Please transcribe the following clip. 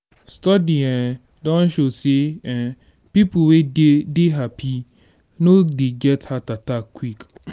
studies um don show sey um pipo wey de dey happy no dey get heart attack quick